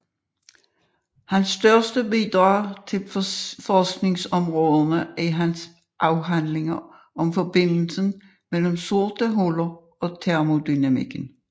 Hans største bidrag til forskningsområderne er hans afhandlinger om forbindelsen mellem sorte huller og termodynamikken